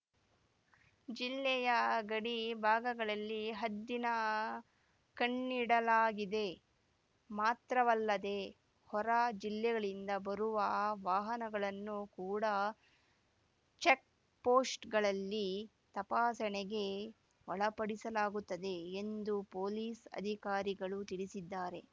ಜಿಲ್ಲೆಯ ಗಡಿ ಭಾಗಗಳಲ್ಲಿ ಹದ್ದಿನ ಕಣ್ಣಿಡಲಾಗಿದೆ ಮಾತ್ರವಲ್ಲದೆ ಹೊರ ಜಿಲ್ಲೆಗಳಿಂದ ಬರುವ ವಾಹನಗಳನ್ನು ಕೂಡ ಚೆಕ್‍ಪೋಸ್ಟ್ ಗಳಲ್ಲಿ ತಪಾಸಣೆಗೆ ಒಳಪಡಿಸಲಾಗುತ್ತದೆ ಎಂದು ಪೊಲೀಸ್ ಅಧಿಕಾರಿಗಳು ತಿಳಿಸಿದ್ದಾರೆ